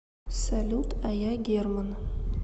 салют а я герман